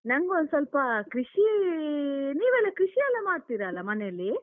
ನಂಗೊಂದ್ ಸ್ವಲ್ಪ ಕೃಷಿ, ನೀವೆಲ್ಲ ಕೃಷಿ ಎಲ್ಲ ಮಾಡ್ತೀರಲ್ಲ ಮನೇಲಿ?